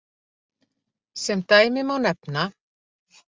Sem dæmi má nefna: